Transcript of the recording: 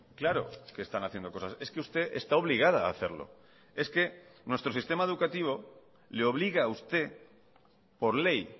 claro que están haciendo cosas es que usted está obligada a hacerlo es que nuestro sistema educativo le obliga a usted por ley